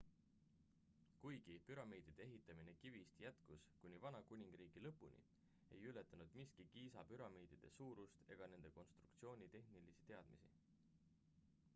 kuigi püramiidide ehitamine kivist jätkus kuni vana kuningriigi lõpuni ei ületanud miski giza püramiidide suurust ega nende konstruktsiooni tehnilisi teadmisi